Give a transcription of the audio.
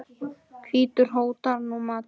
hvítur hótar nú máti.